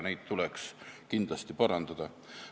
Seda tuleks kindlasti parandada.